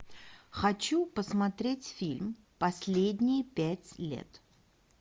хочу посмотреть фильм последние пять лет